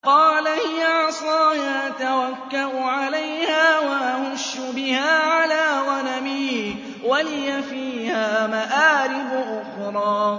قَالَ هِيَ عَصَايَ أَتَوَكَّأُ عَلَيْهَا وَأَهُشُّ بِهَا عَلَىٰ غَنَمِي وَلِيَ فِيهَا مَآرِبُ أُخْرَىٰ